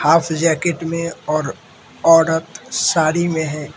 पास jacket में और औरत साड़ी में है।